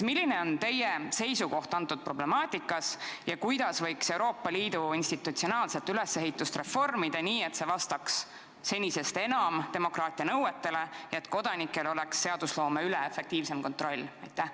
Milline on teie seisukoht selle problemaatika suhtes ja kuidas võiks Euroopa Liidu institutsionaalset ülesehitust reformida nii, et see vastaks senisest enam demokraatia nõuetele ja et kodanikel oleks seadusloome üle efektiivsem kontroll?